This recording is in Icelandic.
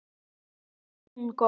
Honum þótti hún góð.